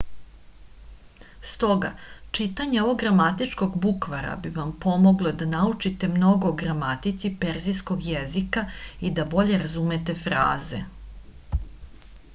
stoga čitanje ovog gramatičkog bukvara bi vam pomoglo da naučite mnogo o gramatici persijskog jezika i da bolje razumete fraze